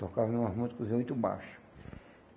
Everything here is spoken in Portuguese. Tocava numa música muito baixa.